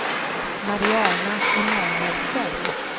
Mariana Emanuelsson